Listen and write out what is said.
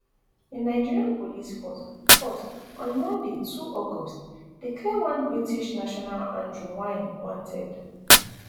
di nigeria police force force on monday two august declare one british national andrew wynne wanted